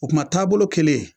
O kuma taabolo kelen